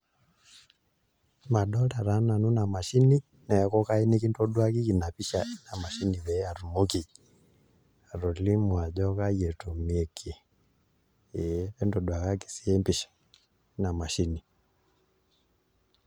Madolta taa nanu ina mashini neeku kayieu nikintaduakiki ina pisha na mashini peyie atumoki atolimu ajo kaai etumieki ee entoduakaki siyie empisha ina mashini.